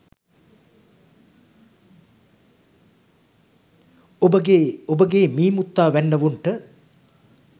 ඔබගේ ඔබගේ මී මුත්තා වැන්නවුන්ට